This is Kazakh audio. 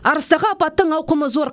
арыстағы апаттың ауқымы зор